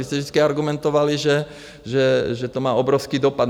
Vy jste vždycky argumentovali, že to má obrovský dopad.